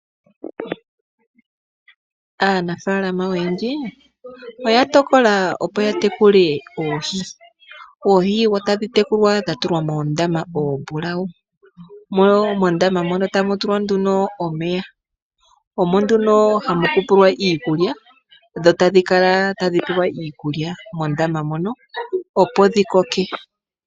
Aanafaalama oyendji oya tokola opo ya tekule oohi. Oohi otadhi tekulwa dha tulwa moondama oombulawu. Mo mondama mono tamu tulwa nduno omeya. Omo nduno hamu umbilwa iikulya, dho tadhi kala tadhi pewa iikulya mondama mono, opo dhi koke.